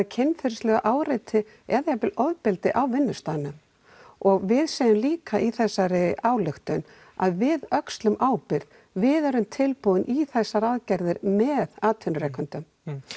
kynferðislegu áreiti eða jafnvel ofbeldi á vinnustaðnum og við segjum líka í þessari ályktun að við öxlum ábyrgð við erum tilbúin í þessar aðgerðir með atvinnurekendum